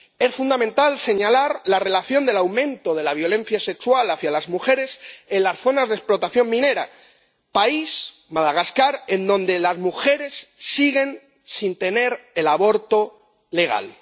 Es fundamental señalar la relación del aumento de la violencia sexual hacia las mujeres con las zonas de explotación minera, en un país —Madagascar— donde las mujeres siguen sin tener derecho al aborto legal.